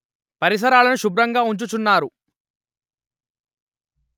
పరిసరాలను శుభ్రంగా ఉంచుచున్నారు